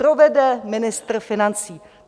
Povede ministr financí.